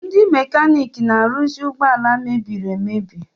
Ndi mekanik na-aruzi ụgbọ ala mebiri emebi.